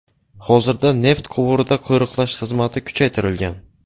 Hozirda neft quvurida qo‘riqlash xizmati kuchaytirilgan.